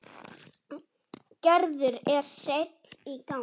Gerður er sein í gang.